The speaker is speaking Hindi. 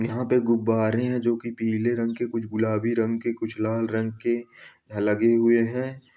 यहां पे गुब्बारे हैं जोकि पीले रंग के कुछ गुलाबी रंग के कुछ लाल रंग के लगे हुए हैं।